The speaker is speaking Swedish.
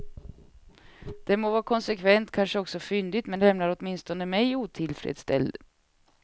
Det må vara konsekvent, kanske också fyndigt, men lämnar åtminstone mig otillfredsställd.